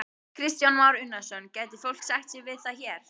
Kristján Már Unnarsson: Gæti fólk sætt sig við það hér?